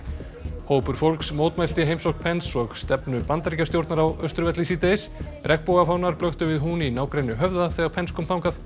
hópur fólks mótmælti heimsókn Pence og stefnu Bandaríkjastjórnar á Austurvelli síðdegis blöktu við hún í nágrenni Höfða þegar Pence kom þangað